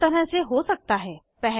यह दो तरह से हो सकता है 1